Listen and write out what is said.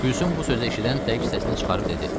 Gülsüm bu sözü eşidən tək səsini çıxarıb dedi.